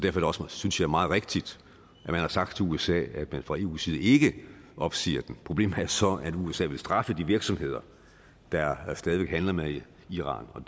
er det også synes jeg meget rigtigt at man har sagt til usa at man fra eus side ikke opsiger den problemet er så at usa vil straffe de virksomheder der stadig væk handler med iran og